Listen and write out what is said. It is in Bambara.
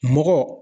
Mɔgɔ